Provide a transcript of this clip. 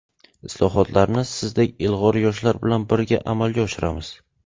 Islohotlarni sizdek ilg‘or yoshlar bilan birga amalga oshiramiz.